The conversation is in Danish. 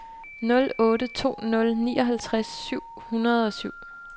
nul otte to nul nioghalvtreds syv hundrede og syv